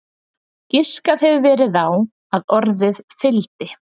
Giskað hefur verið á að orðið fildi?